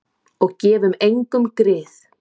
Og gefum engum grið.